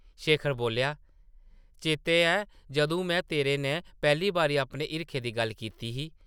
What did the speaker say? शेखर बोल्लेआ, ‘‘चेतै ऐ जदूं में तेरे नै पैह्ली बारी अपने हिरखै दी गल्ल कीती ही?’’